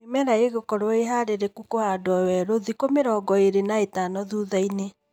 Mĩmera ĩgũkorwo ĩ harĩrĩku kũhandwo werũ thikũ mĩrongo ĩlĩ na ĩtano thuthainĩ